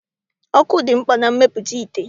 Ọkụ dị mkpa na mmepụta ite.